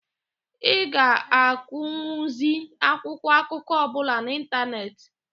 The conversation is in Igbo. Ị ga-agụnwuzi akwụkwọ akụkọ ọbụla n'ịntanetị.